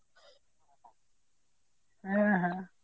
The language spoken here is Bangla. হ্যাঁ হ্যাঁ